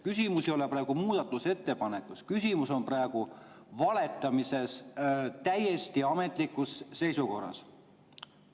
Küsimus ei ole praegu muudatusettepanekutes, küsimus on valetamises täiesti ametlikus korras.